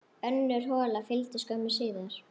Önnur hola fylgdi skömmu síðar.